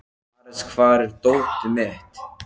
Ares, hvar er dótið mitt?